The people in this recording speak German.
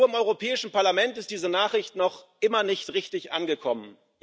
Nur im Europäischen Parlament ist diese Nachricht noch immer nicht richtig angekommen.